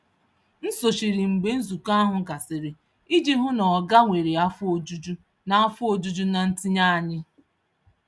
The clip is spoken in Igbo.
M sochiri mgbe nzukọ ahụ gasịrị iji hụ na oga nwere afọ ojuju na afọ ojuju na ntinye anyị.